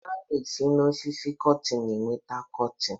A na-esi n'osisi cọtin enweta cọtin